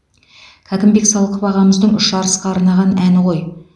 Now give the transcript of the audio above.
кәкімбек салықов ағамыздың үш арысқа арнаған әні ғой